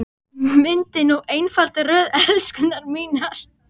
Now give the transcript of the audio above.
Myndið nú einfalda röð, elskurnar mínar.